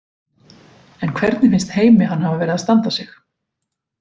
En hvernig finnst Heimi hann hafa verið að standa sig?